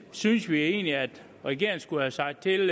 synes vi egentlig at regeringen skulle have sagt til